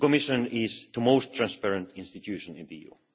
The Commission is the most transparent institution in the EU.